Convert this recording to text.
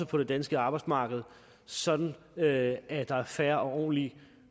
på det danske arbejdsmarked sådan at at der er fair og ordentlige